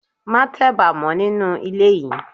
Má teba mọ nínú ilé yìí.